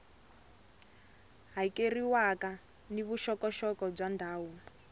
hakeriwaka ni vuxokoxoko bya ndhawu